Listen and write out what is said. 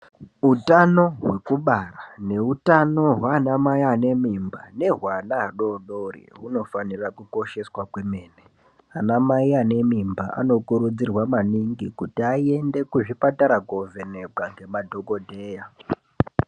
Utano hwekubara ngeutano hwaana amai ane mimba, ngehwehwana adodori , hunofanira kukosheshwa kwemene. Ana mai ane mimba, anokurudzirwa maningi kuti aende kuzvipatara kovhenekwa nemadhokodheya.